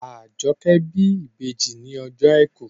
Àjọkẹ́ bí ìbejì ní ọjọ́ àìkú